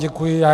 Děkuji vám.